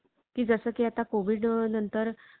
की जसं की आता कोविड नंतर